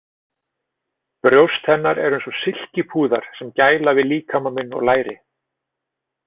Brjóst hennar eru eins og silkipúðar sem gæla við líkama minn og læri.